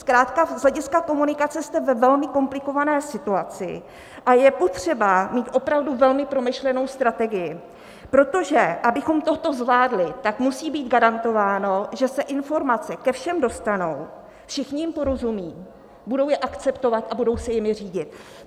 Zkrátka z hlediska komunikace jste ve velmi komplikované situaci a je potřeba mít opravdu velmi promyšlenou strategii, protože abychom toto zvládli, tak musí být garantováno, že se informace ke všem dostanou, všichni jim porozumí, budou je akceptovat a budou se jimi řídit.